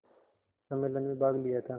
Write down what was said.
सम्मेलन में भाग लिया था